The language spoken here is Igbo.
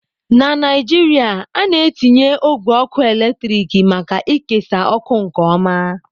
Na Naijiria, a na-etinye ogwe ọkụ eletrik maka ikesa ọkụ nke ọma.